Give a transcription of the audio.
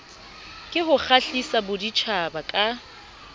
ke ho kgahlisa baditjhaba ka